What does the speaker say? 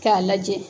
K'a lajɛ